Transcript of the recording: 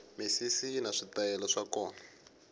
misisi yini switayele swa kona